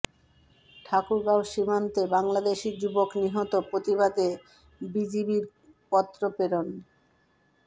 ঠাকুরগাঁও সীমান্তে বাংলাদেশী যুবক নিহত প্রতিবাদে বিজিবির পত্র প্রেরণ